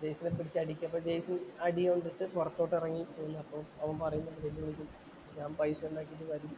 ജയ്സനെ പിടിച്ചു അടിക്കുമ്പോ ജയ്സണ്‍ അടി കൊണ്ടിട്ടു പൊറത്തോട്ടു എറങ്ങി വരുന്നു അപ്പൊ അവന്‍ പറയുന്നു വെല്ലുവിളിക്കുന്നു ഞാന്‍ പൈസ ഒണ്ടാക്കീട്ടു വരും.